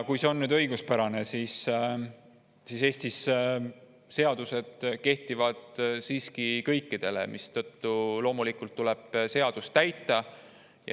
Kui see on õiguspärane, siis Eestis seadused kehtivad siiski kõikide kohta, mistõttu loomulikult tuleb seadust täita.